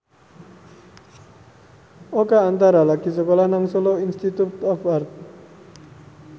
Oka Antara lagi sekolah nang Solo Institute of Art